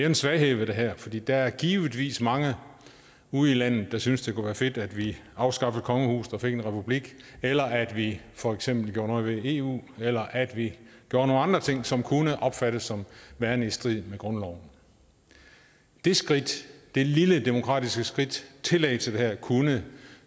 en svaghed ved det her for der er givetvis mange ude i landet der synes det kunne være fedt at vi afskaffede kongehuset og fik en republik eller at vi for eksempel gjorde noget ved eu eller at vi gjorde nogle andre ting som kunne opfattes som værende i strid med grundloven det skridt det lille demokratiske skridt tillægget til det her kunne